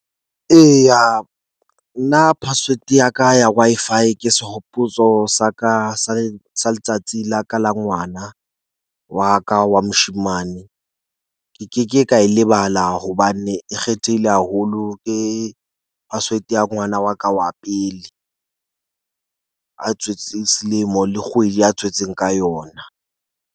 Eya nna password ya ka ya Wi-Fi ke sehopotso sa ka sa sa letsatsi la ka la ngwana wa ka wa moshemane. Ke ke ke ka e e lebala hobane e kgethehile haholo. Ke password ya ngwana wa ka wa pele. A tswetsweng selemo le kgwedi a tswetsweng ka yona.